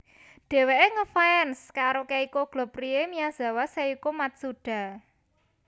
Dhèwèké ngefans karo Keiko Globe Rie Miyazawa Seiko Matsuda